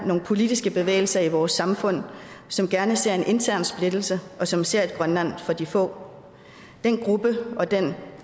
nogle politiske bevægelser i vores samfund som gerne ser en intern splittelse og som ser et grønland for de få den gruppe og den